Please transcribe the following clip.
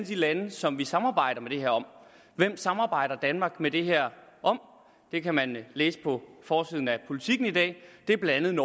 de lande som vi samarbejder med det her om hvem samarbejder danmark med det her om det kan man læse på forsiden af politiken i dag og det er blandt andet